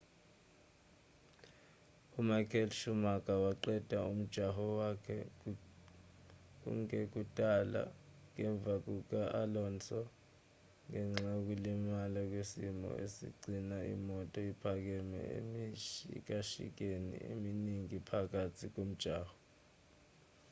umichael schumacher waqeda umjaho wakhe kungekudala ngemva kuka-alonso ngenxa yokulimala kwesimo esigcina imoto iphakeme emishikashikeni eminingi phakathi nomjaho